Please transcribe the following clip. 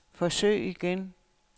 forsøg igen